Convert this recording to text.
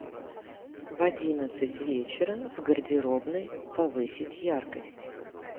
в одиннадцать вечера в гардеробной повысить яркость